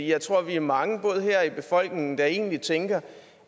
jeg tror at vi er mange både her og i befolkningen der egentlig tænker